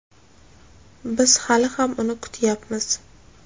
Biz hali ham uni kutyapmiz.